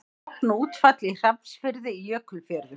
Logn og útfall í Hrafnsfirði í Jökulfjörðum.